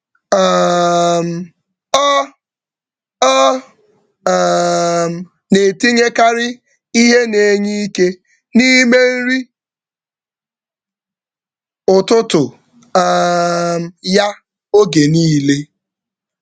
Ọ na-etinyekarị ihe na-enye ike n’ime nri ụtụtụ ya oge niile.